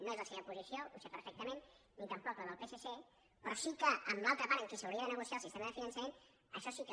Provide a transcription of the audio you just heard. no és la seva posició ho sé perfectament ni tampoc la del psc però sí que amb l’altra part amb qui s’hauria de negociar el sistema de finançament això sí que